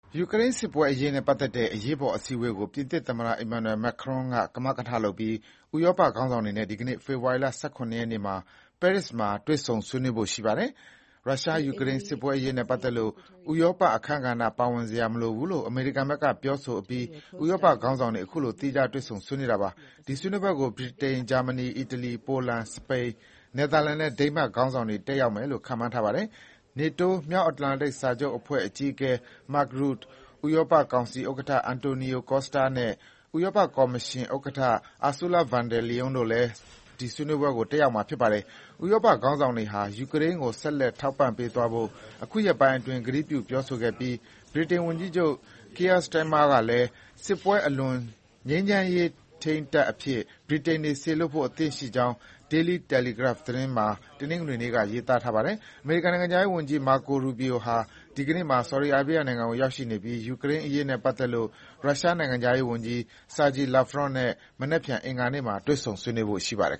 ယူကရိန်းစစ်ပွဲအရေးနဲ့ပတ်သက်တဲ့ အရေးပေါ်အစည်းအဝေးကို ပြင်သစ်သမ္မတ Emmanuel Macron ကမကထလုပ်ပြီး ဥရောပခေါင်းဆောင်တွေနဲ့ ဒီကနေ့ ဖေဖေါ်ဝါရီ ၁၇ ရက်နေ့မှာ ပဲရစ်မှာ တွေ့ဆုံ ဆွေးနွေးဖို့ရှိပါတယ်။ ရုရှား-ယူကရိန်းစစ်ပွဲအရေးနဲ့ပတ်သက်လို့ ဥရောပအခန်းကဏ္ဍ ပါဝင်စရာ မလိုဘူးလို့ အမေရိကန်ဘက်ကပြောဆိုအပြီး ဥရောပခေါင်းဆောင်တွေ ခုလို သီးခြားတွေ့ဆုံ ဆွေးနွေး တာပါ။ ဒီဆွေးနွေးပွဲကို ဗြိတိန်၊ ဂျာမနီ၊ အီတလီ၊ ပိုလန်၊ စပိန်၊ နယ်သာလန်နဲ့ ဒိန်းမတ်ခေါင်းဆောင်တွေ တက်ရောက်မယ်လို့ ခန့်မှန်းထားပါတယ်။ NATO မြောက်အတ္တလန်တိတ်စစ်စာချုပ်အဖွဲ့ အကြီးအကဲ Mark Rutte ၊ ဥရောပကောင်စီဥက္ကဋ္ဌ Antonio Costa နဲ့ ဥရောပကော်မရှင် ဥက္ကဋ္ဌ Ursula von der Leyen တို့လည်း ဒီဆွေးနွေးပွဲ တက်ရောက်မှာပါ။ ဥရောပခေါင်းဆောင်တွေဟာ ယူကရိန်းကို ဆက်လက်ထောက်ပံ့ပေးသွားဖို့ ခုရက်ပိုင်းအတွင်း ကတိပြုပြောဆိုခဲ့ပြီး ဗြိတိန်ဝန်ကြီးချုပ် Keir Starmer ကလည်း စစ်ပွဲအလွန် ငြိမ်းချမ်းရေးထိန်းတပ် အဖြစ် ဗြိတိန်တပ်တွေ စေလွှတ်ဖို့ အဆင်သင့် ရှိကြောင်း Daily Telegraph မှာ တနင်္ဂနွေနေ့က ရေးသားပါတယ်။ အမေရိကန်နိုင်ငံခြားရေးဝန်ကြီး Marco Rubio ဟာ ဒီကနေ့မှာ ဆော်ဒီအာရေးဘီးယားနိုင်ငံကို ရောက်ရှိနေပြီး ယူကရိန်းအရေးနဲ့ပတ်သက်လို့ ရုရှားနိုင်ငံခြားရေးဝန်ကြီး Sergey Lavrov နဲ့ မနက်ဖြန် အင်္ဂါနေ့မှာ တွေ့ဆုံဆွေးနွေးဖို့ရှိပါတယ်